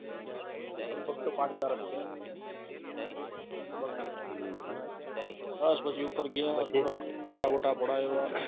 લગભગ તો પાંચ હજાર જ છે પછી ખબર નથી બસ પછી ઉપર ગયા ફોટા બોટા પડય્વા